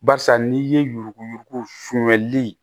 Barisa n'i ye yuruku yuruku funyɛnli